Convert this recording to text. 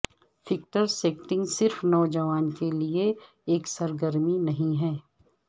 factor skating صرف نوجوان کے لئے ایک سرگرمی نہیں ہے